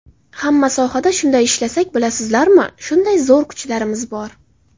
Hamma sohada shunday ishlasak, bilasizlarmi, shunday zo‘r kuchlarimiz bor.